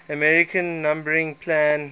american numbering plan